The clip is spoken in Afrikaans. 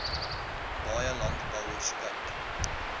baie landbouers kyk